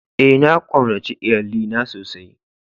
Ee, na kaunace lyalli na sosai.